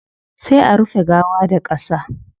Sai a rufe gawa da qasa